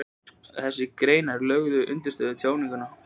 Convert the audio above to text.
Þessar greinar lögðu undirstöðu að tjáningunni, töluðu og ritaðu máli.